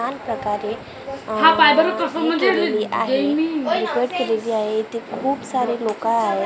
छान प्रकारे केलेली आहे केलेली आहे इथे खूप सारे लोकं आहेत अ --